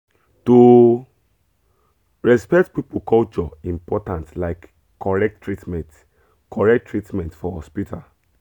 to respect people culture important like correct treatment correct treatment for hospital.